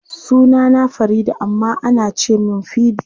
Sunana Farida amma ana ce min Fidi.